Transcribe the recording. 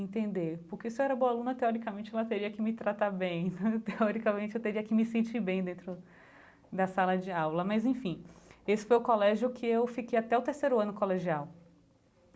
entender, porque se eu era boa aluna teoricamente, ela teria que me tratar bem, teoricamente eu teria que me sentir bem dentro da sala de aula, mas enfim, esse foi o colégio que eu fiquei até o terceiro ano do colegial.